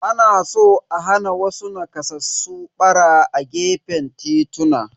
Ana so a hana wasu nakasassu ɓara a gefen tituna.